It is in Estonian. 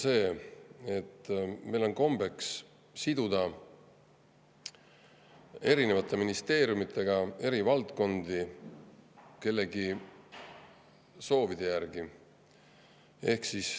Nimelt see, et meil on kombeks siduda erinevate ministeeriumidega eri valdkondi kellegi soovide järgi.